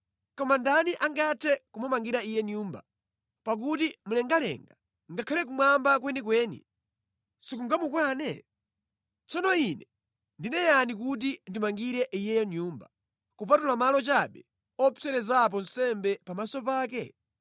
Koma ndani angathe kumumangira Iye Nyumba, pakuti mlengalenga, ngakhale kumwamba kwenikweni sikungamukwane? Tsono ine ndine yani kuti ndimangire Iyeyo Nyumba, kupatula malo chabe opserezerapo nsembe pamaso pake?